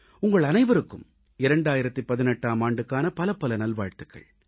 உங்கள் அனைவருக்கும் 2018ஆம் ஆண்டுக்கான பலப்பல நல்வாழ்த்துகள்